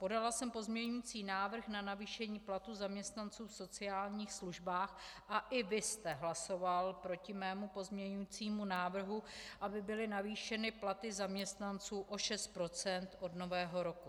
Podala jsem pozměňující návrh na navýšení platů zaměstnanců v sociálních službách a i vy jste hlasoval proti mému pozměňujícímu návrhu, aby byly navýšeny platy zaměstnanců o 6 % od Nového roku.